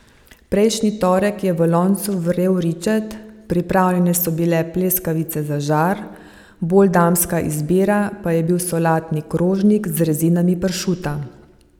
Prejšnji torek je v loncu vrel ričet, pripravljene so bile pleskavice za žar, bolj damska izbira pa je bil solatni krožnik z rezinami pršuta.